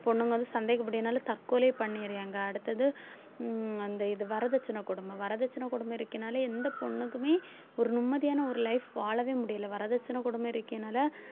பொண்ணுங்க வந்து சந்தேகப்பட்டதுனால தற்கொலையே பண்ணிறியாங்க அடுத்தது உம் அந்த இது வரதட்சணை கொடுமை வரதட்சணை கொடுமை இருக்குன்னாலே எந்த பொண்ணுக்குமே ஒரு நிம்மதியான ஒரு life வாழவே முடியலை வரதட்சணை கொடுமை